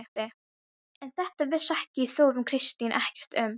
En þetta vissi Þórunn Kristín ekkert um.